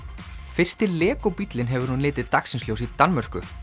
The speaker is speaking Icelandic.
fyrsti bíllinn hefur nú litið dagsins ljós í Danmörku